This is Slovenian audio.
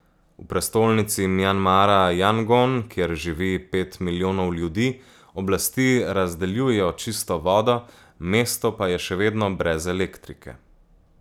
V prestolnici Mjanmara Jangon, kjer živi pet milijonov ljudi, oblasti razdeljujejo čisto vodo, mesto pa je še vedno brez elektrike.